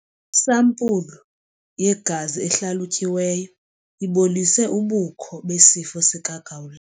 Isampulu yegazi ehlalutyiweyo ibonise ubukho besifo sikagawula.